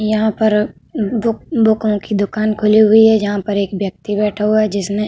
यहां पर बुक बुकों की दुकान खुली हुई है जहां पर एक व्यक्ति बैठा हुआ है जिसने --